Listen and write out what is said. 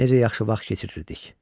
Necə yaxşı vaxt keçirirdik!